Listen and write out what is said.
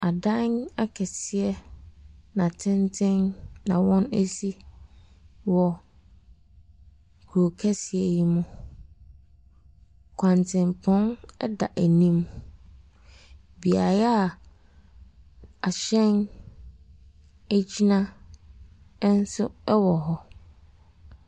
Adan akɛseɛ na tenten na wɔasi wɔ kuro kɛseɛ yi mu, kwantempɔn da anim. Beaeɛ a ahyɛn gyina nso wɔ hɔ.